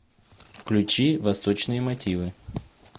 включи восточные мотивы